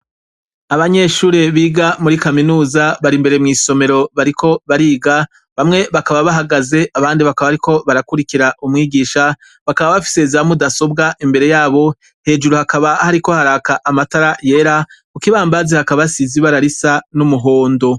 Abanyeshure biga muri kaminuza bari imbere mw'isomero bariko bariga, bamwe bakaba bahagaze, abandi bakaba bariko barakwirikira umwigisha, bakaba bafise za mudasobwa imbere yabo, hejuru hakaba hariko haka amatara yera, ku kibambazi hakaba hasize ibara risa n'umuhondo.